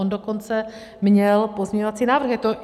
On dokonce měl pozměňovací návrh.